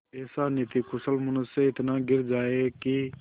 ऐसा नीतिकुशल मनुष्य इतना गिर जाए कि